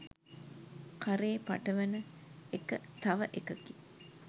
කරේ පටවන එක තව එකකි.